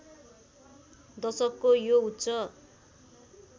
दशकको यो उच्च